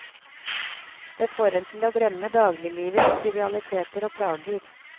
Det får en til å glemme dagliglivets trivialiteter og plager.